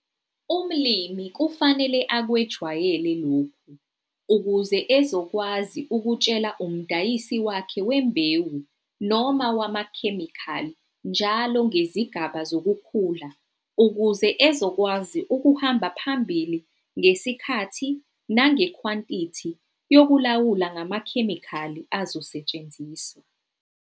Umilimi kufanele akwejwayele lokhu ukuze ezokwazi ukutshela umdayisi wakhe wembewu noma wamkhemikhali njalo ngezigaba zokukhula ukuze ezokwazi ukuhamba phambili ngesikhathi nangekwantithi yokulawula ngamakhemikhali azosethsenziswa.